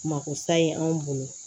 Mako sa ye anw bolo